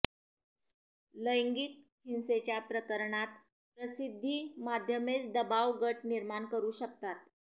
लैंगिक हिंसेच्या प्रकरणांत प्रसिद्धीमाध्यमेच दबाव गट निर्माण करू शकतात